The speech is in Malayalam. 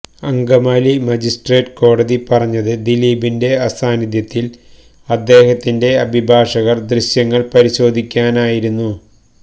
അങ്കമാലി മജിസ്ട്രേറ്റ് കോടതി പറഞ്ഞത് ദിലീപിന്റെ സാന്നിധ്യത്തില് അദ്ദേഹത്തിന്റെ അഭിഭാഷകര് ദൃശ്യങ്ങള് പരിശോധിക്കാനായിരുന്നു